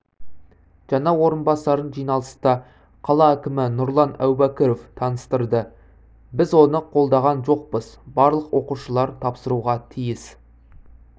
жаңа орынбасарын жиналыста қала әкімі нұрлан әубәкіров таныстырды біз оны қолдаған жоқпыз барлық оқушылар тапсыруға тиіс